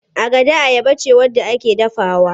Agada ayaba ce wadda ake dafawa.